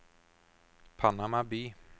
Panama by